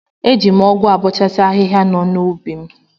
Eji m ọgụ abọchasi ahihia nọ n'ubi m.